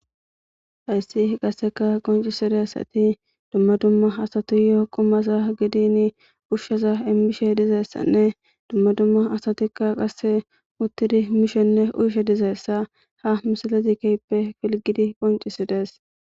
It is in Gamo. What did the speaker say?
Hyssi qasseka qoncisidessati dumma dumma asatiyo qumasa gidin pushsheza immishe dizeessanne dumma dumma asatikka qasse muttidi mishenne uyshe dizeessa ha misalezi keyppe filgidi qoncisides